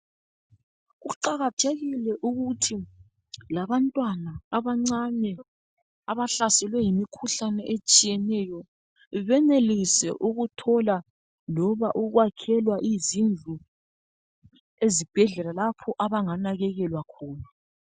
Kuqakathekile ukuthi labantwana abancane abahlaselwe yimikhuhlane etshiyeneyo benelise ukuthola loba ukwakhelwa izindlu ezibhedlela lapha abanganakelelwa khona.